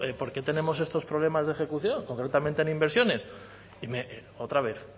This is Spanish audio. por qué tenemos estos problemas de ejecución concretamente en inversiones y me otra vez